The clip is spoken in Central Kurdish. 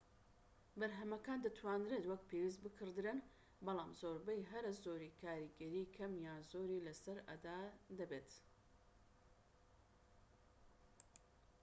بەرهەمەکان دەتوانرێت وەک پێویست بکڕدرێن بەڵام زۆربەی هەرە زۆری کاریگەری کەم یان زۆری لەسەر ئەدا دەبێت